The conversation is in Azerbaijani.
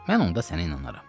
Mən onda sənə inanaram.